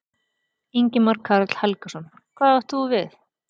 Ingimar Karl Helgason: Hvað átt þú við?